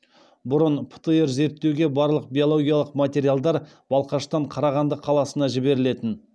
бұрын птр зерттеуге барлық биологиялық материалдар балқаштан қарағанды қаласына жіберілетін